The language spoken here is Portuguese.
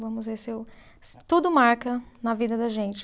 Vamos ver se eu. Tudo marca na vida da gente.